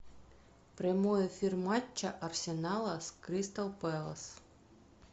прямой эфир матча арсенала с кристал пэлас